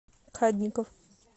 кадников